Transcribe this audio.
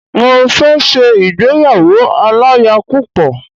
Mo fẹ ṣe ìgbéyàwó aláya púpọ̀